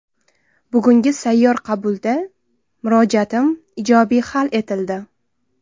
Bugungi sayyor qabulda murojaatim ijobiy hal etildi.